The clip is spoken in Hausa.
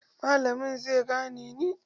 Malamin zai zane ni.